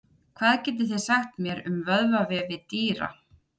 Hvað getið þið sagt mér um vöðvavefi dýra?